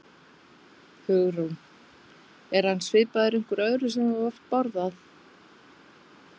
Hugrún: Er hann svipaður einhverju öðru sem þú hefur borðað?